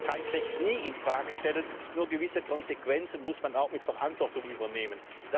Ich werde das Streikrecht nie in Frage stellen, nur gewisse Konsequenzen muss man auch mit Verantwortung übernehmen.